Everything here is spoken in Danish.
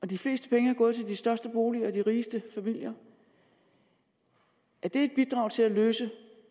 de fleste penge er gået til de største boliger og de rigeste familier er det et bidrag til at løse